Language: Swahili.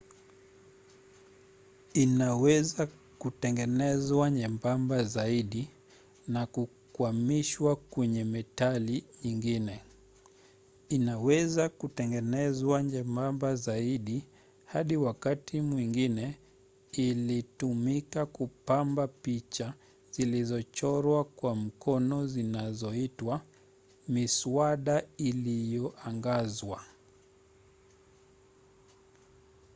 inaweza kutengenezwa nyembamba zaidi na kukwamishwa kwenye metali nyingine. inaweza kutengenezwa nyembamba zaidi hadi wakati mwingine ilitumika kupamba picha zilizochorwa kwa mkono zinazoitwa miswada iliyoangazwa